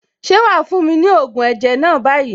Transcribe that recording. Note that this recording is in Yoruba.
Ṣé wàá fún mi ní ògùn ẹ̀jẹ̀ náà báyìí?